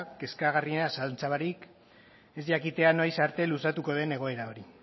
kezkagarriena zalantza barik ez jakitea noiz arte luzatuko den egoera hori